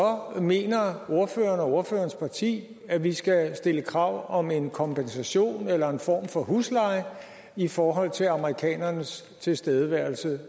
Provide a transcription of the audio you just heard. mener ordføreren og hans parti at vi skal stille krav om en kompensation eller en form for husleje i forhold til amerikanernes tilstedeværelse